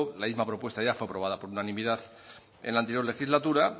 la misma propuesta ya fue aprobada por unanimidad en la anterior legislatura